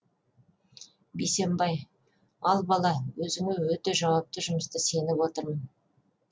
бейсенбай ал бала өзіңе өте жауапты жұмысты сеніп отырмын